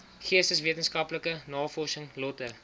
geesteswetenskaplike navorsing lötter